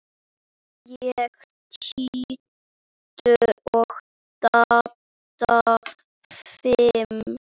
Ég tíu og Dadda fimm.